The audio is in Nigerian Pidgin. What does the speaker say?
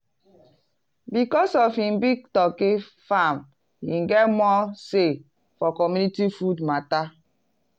because of him big turkey farm him get more say for community food matter.